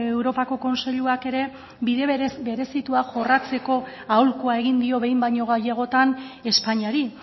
europako kontseiluak ere bide berezitua jorratzeko aholkua egin dio behin baino gehiagotan espainiari